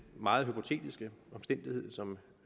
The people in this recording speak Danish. meget hypotetiske omstændighed som